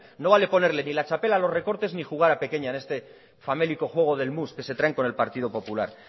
no vale ponerle ni la txapela a los recortes ni jugar a pequeña en este famélico juego del mus que se traen con el partido popular